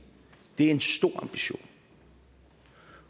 det er en stor ambition